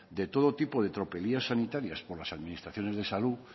de todo tipo de tropelías sanitarias por las administraciones de salud